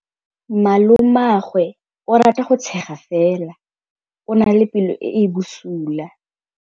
Malomagwe o rata go tshega fela o na le pelo e e bosula.